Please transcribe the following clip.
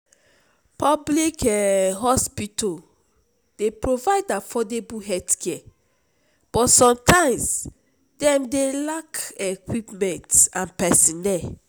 public um hospital dey provide affordable healthcare but sometimes dem dey lack equipment and pesinnel.